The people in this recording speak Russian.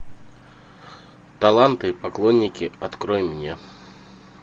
таланты и поклонники открой мне